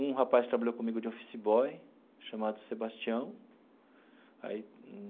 Um rapaz trabalhou comigo de office boy, chamado Sebastião aí.